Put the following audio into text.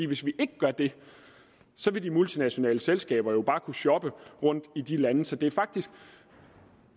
hvis vi ikke gør det vil de multinationale selskaber jo bare kunne shoppe rundt i de lande så